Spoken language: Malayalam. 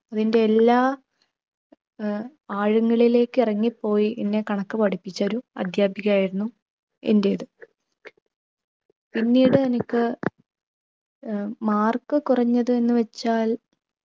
അതിൻ്റെ എല്ലാ ഏർ ആഴങ്ങളിലേക്ക് ഇറങ്ങിപ്പോയി എന്നെ കണക്ക് പഠിപ്പിച്ചൊരു അധ്യാപിക ആയിരുന്നു എൻ്റെത്. പിന്നീട് എനിക്ക് ഏർ mark കുറഞ്ഞത് എന്ന് വച്ചാൽ